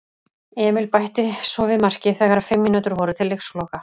Emil bætti svo við marki þegar fimm mínútur voru til leiksloka.